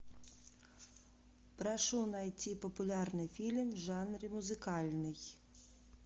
прошу найти популярный фильм в жанре музыкальный